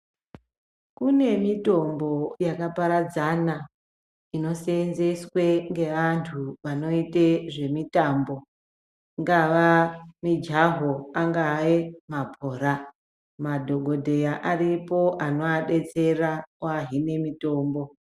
Kunemitombo yakaparadzana inoseenzeswe ngeandu vanoite zvemitambo dzingava mijaho angaae mabhora madhokodheya aripo anoadetsera kuahime mitombo